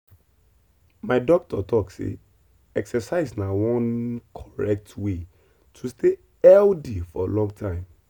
my doctor talk say exercise na one correct way to stay healthy for long time.